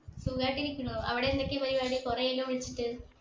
സുഖായിട്ടിരിക്കുന്നു അവിടെ എന്തൊക്കെ പരിപാടി കൊറേയായല്ലോ വിളിച്ചിട്ട്